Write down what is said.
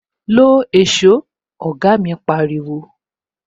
"Lo èsó "oga mi pariwo